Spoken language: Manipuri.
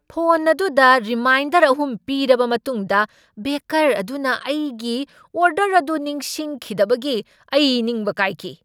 ꯐꯣꯟ ꯑꯗꯨꯗ ꯔꯤꯃꯥꯏꯟꯗꯔ ꯑꯍꯨꯝ ꯄꯤꯔꯕ ꯃꯇꯨꯡꯗ ꯕꯦꯀꯔ ꯑꯗꯨꯅ ꯑꯩꯒꯤ ꯑꯣꯔꯗꯔ ꯑꯗꯨ ꯅꯤꯡꯁꯤꯡꯈꯤꯗꯕꯒꯤ ꯑꯩ ꯅꯤꯡꯕ ꯀꯥꯏꯈꯤ꯫